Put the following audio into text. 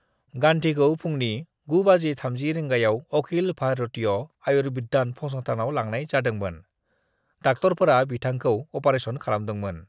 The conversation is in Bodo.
गांधीखौ फुंनि 9.30 रिंगायाव अखिल भारतीय आयुर्विज्ञान फसंथानाव लांनाय जादोंमोन डॉक्टरफोरा बिथांखौ ऑपरेशन खालामदोंमोन।